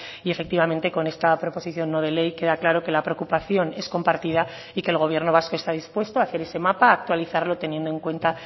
y efectivamente con esta proposición no de ley queda claro que la preocupación es compartida y que el gobierno vasco está dispuesto a hacer ese mapa a actualizarlo teniendo en cuenta